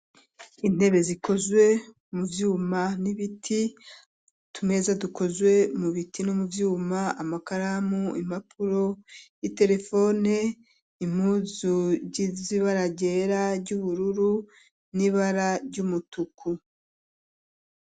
Entebe zikozwe mu byuma n'ibiti utumeza dukozwe mu biti no mu byuma amakaramu impapuro, iterefone, impuzu zibara ryera, ry'ubururu n'ibara ry'umutuku.